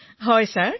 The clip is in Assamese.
বিনোলেঃ হয় মহাশয়